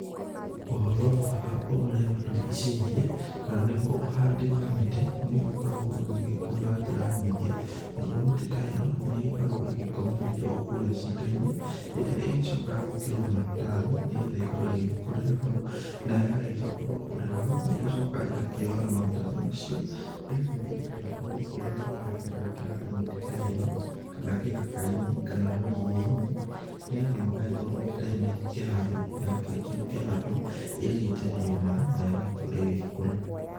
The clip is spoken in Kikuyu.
Ũhoro wa marĩa matũrigicĩirie kana nĩguo ũhandi wa mĩtĩ, nĩ ũgĩkoragwo ũgĩgĩkwo na njĩra nyingĩ, naguo mĩtĩ ta ĩno nĩ ĩgĩkoragwo ĩgĩkomererio o kũrĩa cito-inĩ, ĩrĩa ĩgĩcokaga gwĩkĩrwo maratathi nĩgetha ĩkorwo ĩgĩgĩkũrĩra hau. Na yagĩcoka gũgĩkũrĩra hau nĩ ĩgĩcokaga ĩgakĩoywo na maratathi macio, ĩgagĩthiĩ ĩgagĩtwarwo kũrĩ arĩa marakĩenda kũhanda mĩtĩ ta ĩno, kana gĩthaka-inĩ, kana rũriĩ-inĩ nĩgetha magagĩkorwo mĩtĩ ta ĩno igĩkĩhandwo, na yakĩrĩkia gũkĩhandwo ĩgagĩitĩrĩrio maĩ na ĩgagĩkorwo igĩgĩkũra.